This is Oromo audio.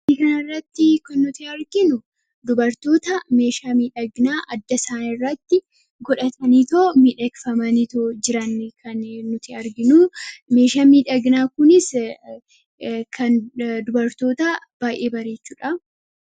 Suura kana irratti kan arginu dubartoota meeshaa miidhaginaa adda isaanii irratti godhatanii jiranidha. Meeshaan miidhaginaa Kunis dubartoota kan baay'ee bareechudha.